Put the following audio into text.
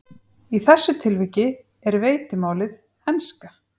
Í þessu tilviki er veitimálið enska.